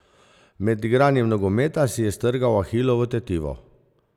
Med igranjem nogometa si je strgal ahilovo tetivo.